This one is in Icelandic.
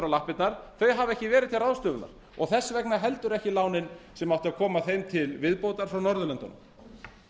lappirnar hafa ekki verið til ráðstöfunar og þess vegna heldur ekki lánin sem áttu að koma þeim til viðbótar frá norðurlöndunum